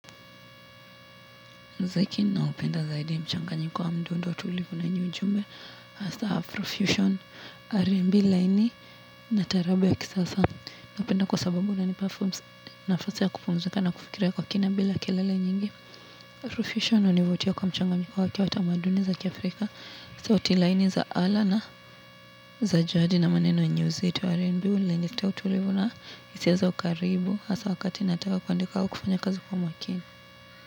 Muziki naupenda zaidi mchanganyiko wa mdundo tulivu na yenye ujumbe hasa afrofusion rnb laini na tarabu ya kisasa napenda kwa sababu inanipa fursa nafasi ya kupumzika na kufikiria kwa kina bila kelele nyingi rofisho inanivutia kwa mchanganjiko wake wa tamaduni za kiafrika sauti laini za ala na za jadi na maneno yenue uzito rnb huniletea utulivu na hisia za ukaribu hasa wakati nataka kuandika wa kufanya kwa makini.